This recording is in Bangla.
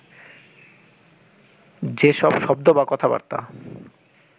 যে সব শব্দ বা কথাবার্তা